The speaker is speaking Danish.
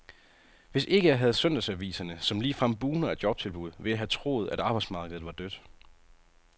Hvis ikke jeg havde søndagsaviserne, som ligefrem bugner af jobtilbud, ville jeg have troet, at arbejdsmarkedet var dødt.